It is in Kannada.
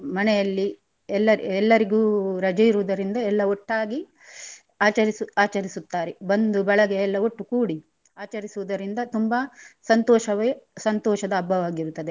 ಮನೆಯಲ್ಲಿ ಎಲ್ಲ ಎಲ್ಲರಿಗು ರಜೆ ಇರುದರಿಂದ ಎಲ್ಲ ಒಟ್ಟಾಗಿ ಆಚರಿಸು ಆಚರಿಸುತ್ತಾರೆ ಬಂದು ಬಳಗ ಎಲ್ಲ ಒಟ್ಟು ಕೂಡಿ ಆಚರಿಸುದರಿಂದ ತುಂಬ ಸಂತೋಷವೆ ಸಂತೋಷದ ಹಬ್ಬವಾಗಿರುತ್ತದೆ.